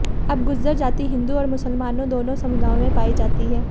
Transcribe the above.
अब गुर्जर जाति हिंदू और मूसलमानों दोनों समुदायों में पाई जाती है